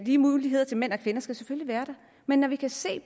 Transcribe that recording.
lige muligheder til mænd og kvinder skal selvfølgelig være der men når vi kan se